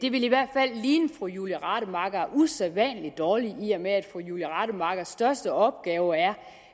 ville i hvert fald ligne fru julie rademacher usædvanlig dårligt i og med at fru julie rademachers største opgave er